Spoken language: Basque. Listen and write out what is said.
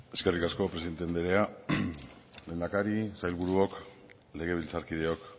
eskerrik asko presidente andrea lehendakari sailburuok legebiltzarkideok